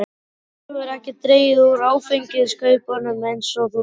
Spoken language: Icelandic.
Svo hefurðu ekki dregið úr áfengiskaupunum eins og þú lofaðir.